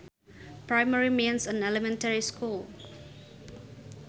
Primary means an elementary school